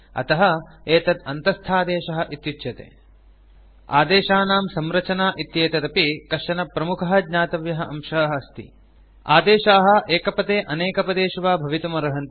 अतः एतत् अन्तस्थादेशः इत्युच्यते आदेशानां संरचना इत्येतदपि कश्चन प्रमुखः ज्ञातव्यः अंशः अस्ति आदेशाः एकपदे अनेकपदेषु वा भवितुम् अर्हन्ति